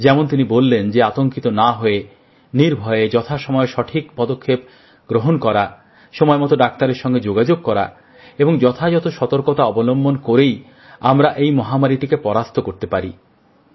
যেমন তিনি বললেন যে আতঙ্কিত না হয়ে নির্ভয়ে যথাসময়ে সঠিক পদক্ষেপ গ্রহণ করা সময় মতো ডাক্তারের সঙ্গে যোগাযোগ করা এবং যথাযথ সতর্কতা অবলম্বন করেই আমরা এই মহামারীটিকে পরাস্ত করতে পারি